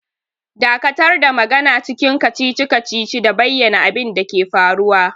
Dakatar da magana cikin kacici-kacici da bayyana abin da ke faruwa!